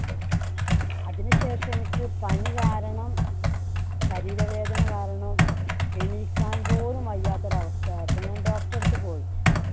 അതിനുശേഷം എനിക്ക് പനി കാരണം ശരീര വേദന കാരണം എണീക്കാൻ പോലും വയ്യാത്ത ഒരവസ്ഥയായപ്പോ ഞാൻ doctor ടെ അടുത്തു പോയി.